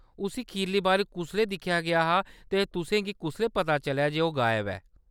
उस्सी खीरला बारी कुसलै दिक्खेआ गेआ हा ते तुसें गी कुसलै पता चलेआ जे ओह्‌‌ गायब ऐ ?